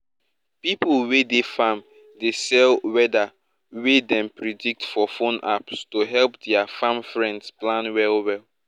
pipo wey dey farm dey sell weather wey dem predict for phone apps to help dia farm friends plan well well